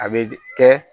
A be kɛ